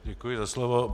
Děkuji za slovo.